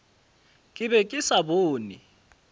ke be ke sa bone